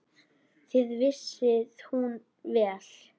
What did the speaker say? Það vissi hún vel.